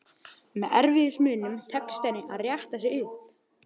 Með erfiðismunum tekst henni að rétta sig upp.